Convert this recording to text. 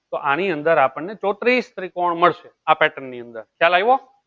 તો આમી અંદર આપણ ને ત્રીસ ત્રિકોણ મળશે આ pattern ની અંદર ખ્યાલ આવ્યો